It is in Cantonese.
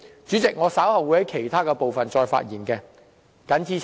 主席，我稍後會就其他部分再度發言。